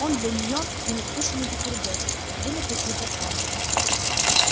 он для неё ненадкушенный бутерброд вынутый изо рта